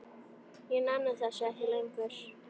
Ég nenni þessu ekki lengur.